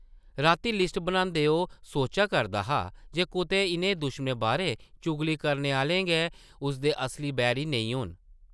रातीं लिस्ट बनांदे ओह् सोचा करदा हा जे कुतै इʼनें दुश्मनें बारै चुगली करने आह्ले गै उसदे असली बैरी नेईं होन ।